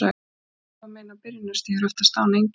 Lungnakrabbamein á byrjunarstigi eru oftast án einkenna.